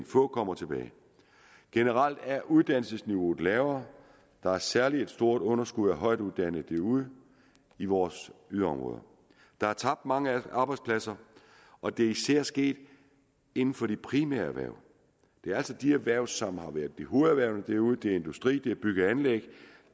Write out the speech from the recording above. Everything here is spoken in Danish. få kommer tilbage generelt er uddannelsesniveauet lavere der er særlig et stort underskud af højtuddannede derude i vores yderområder der er tabt mange arbejdspladser og det er især sket inden for de primære erhverv det er altså de erhverv som har været hovederhverv derude det er industri det er bygge og anlæg